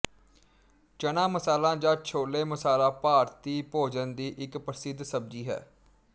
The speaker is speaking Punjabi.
ਚਣਾ ਮਸਾਲਾ ਜਾਂ ਛੋਲੇ ਮਸਾਲਾ ਭਾਰਤੀ ਭੋਜਨ ਦੀ ਇੱਕ ਪ੍ਰਸਿੱਧ ਸੱਬਜੀ ਹੈ